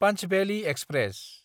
पन्चभेलि express